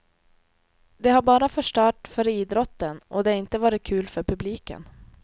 Det har bara förstört för idrotten och det har inte varit kul för publiken.